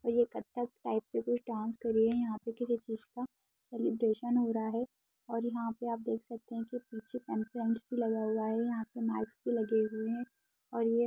ये कत्थक टाइप से कुछ डांस कर रही है यहाँ पे किसी चीज़ का सेलिब्रेशन हो रहा है और यहाँ पे आप देख सकते है कि पीछे टेंट वेंट भी लगा हुआ है यहाँ पे माइक्स भी लगे हुए है और ये --